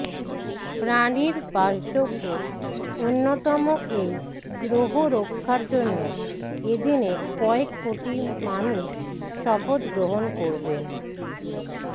প্রাণীর বাসযোগ্য অন্যতম এই গ্রহ রক্ষার জন্য এদিনে কয়েক কোটি মানুষ শপথ গ্রহণ করবেন